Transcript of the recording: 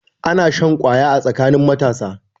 Ana shan kwaya a tsakanin matasa.